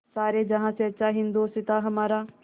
सारे जहाँ से अच्छा हिन्दोसिताँ हमारा